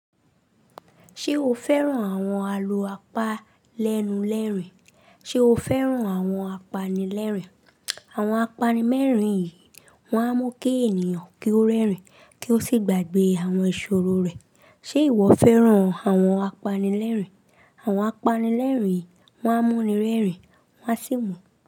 Ṣé o fẹ́ràn àwọn alo apalẹ́nu rẹ́rìn? Ṣé o fẹ́ràn àwọn apanilẹ́rìn? Àwọn apanilẹ́rìn wọ̀nyí, wọ́n á mú kí ènìyàn kí ó rẹ́rìn kí ó sì gbàgbé àwọn ìṣòro rẹ̀. Ṣe ìwọ fẹ́ràn àwọn apanilẹ́rìn? Àwọn apanilẹ́rìn wọ̀nyí, wọ́n á mú ẹni rẹ́rìn, wọ́n a sì.